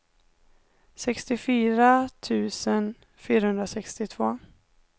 sextiofyra tusen fyrahundrasextiotvå